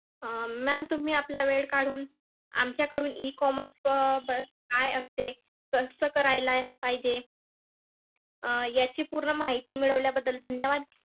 अं ma'am तुम्ही आपला वेळ काढून आमच्याकडून अं E commerce काय असते, कसं करायला पाहिजे अं याची पूर्ण माहिती मिळवल्याबद्दल धन्यवाद.